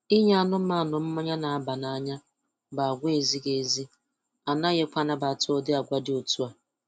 Inye anụmanụ mmanyị na-aba n'anya bụ agwa ezighị ezi, anaghịkwa anabata ụdị agwa dị otu a